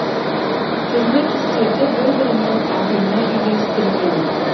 түрлі түстерді бір бірімен әдемі үйлестірген